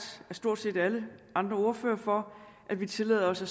af stort set alle andre ordførere for at vi tillader os at